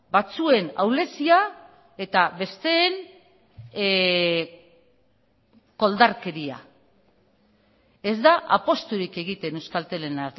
batzuen ahulezia eta besteen koldarkeria ez da apusturik egiten euskaltelen